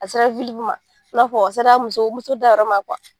A sera ma i n'a fɔ a sera muso muso dayɔrɔ ma .